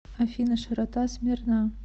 афина широта смирна